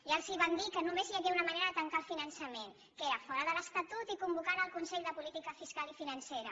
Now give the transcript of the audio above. ja els vam dir que només hi havia una manera de tancar el finançament que era fora de l’estatut i convocant el consell de política fiscal i financera